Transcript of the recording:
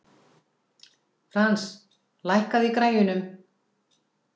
Frans, lækkaðu í græjunum.